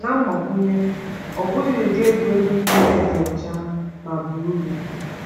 Na mgbakwunye, ọ bụghị ụdị egwuregwu niile dị ọcha ma baa uru.